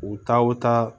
U taa o taa